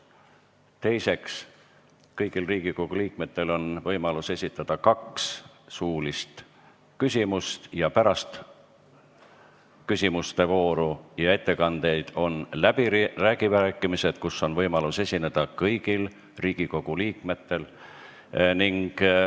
Teiseks, kõigil Riigikogu liikmetel on võimalik esitada kaks suulist küsimust ning pärast ettekandeid ja küsimuste voore on läbirääkimised, kus on võimalus esineda kõigil Riigikogu liikmetel.